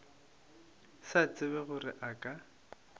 sa tsebe gore a ka